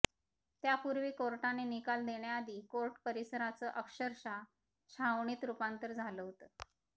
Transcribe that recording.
त्यापुर्वी कोर्टाने निकाल देण्याआधी कोर्ट परिसराचं अक्षरशः छावणीत रूपांतर झालं होतं